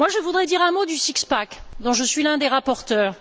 Je voudrais dire un mot du six pack dont je suis l'un des rapporteurs.